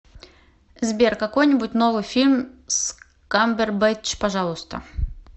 сбер какой нибудь новый фильм с камбербэтч пожалуйста